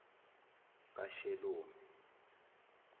kashelomi